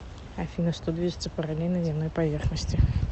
афина что движется параллельно земной поверхности